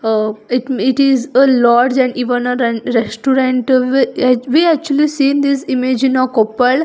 Uh it me it is a lodge and even a ren restaurant wi uh we actually seen this image in a koppal.